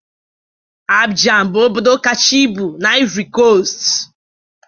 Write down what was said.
Abidjan bụ obodo kacha ibu na Ivory Coast